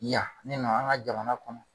Yan ne nana an ka jamana kɔnɔ.